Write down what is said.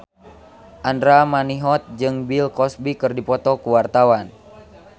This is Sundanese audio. Andra Manihot jeung Bill Cosby keur dipoto ku wartawan